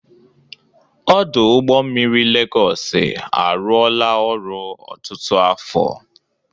Ọdụ ụgbọ mmiri Legosị arụọla ọrụ ọtụtụ afo.